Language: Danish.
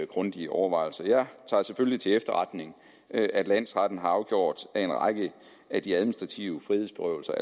grundige overvejelser jeg tager selvfølgelig til efterretning at landsretten har afgjort at en række af de administrative frihedsberøvelser